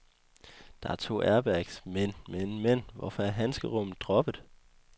Der er to airbags, men, men, men, hvorfor er handskerummet droppet?